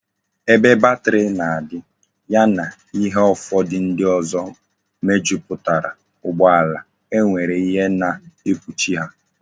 Ebe bateri na adi, ya na ihe ufodu ndi ozo mejuputara ugbo ala, e nwere ihe na ekpuchi ha